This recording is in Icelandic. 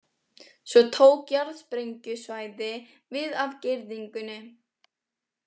Svo tók jarðsprengjusvæði við af girðingunni.